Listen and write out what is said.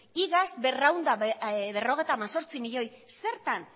iaz berrehun eta berrogeita hemezortzi zertan